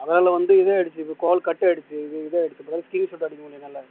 அதால வந்து இது ஆயிடுச்சு call cut ஆயிடுச்சு இது இதாயிடுச்சு screenshot அடிக்க முடியும் என்னால